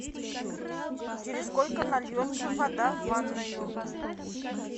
через сколько нальется вода в ванную